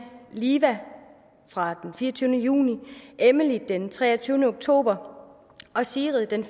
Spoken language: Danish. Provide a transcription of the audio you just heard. liva fra den fireogtyvende juni emily den treogtyvende oktober og sigrid den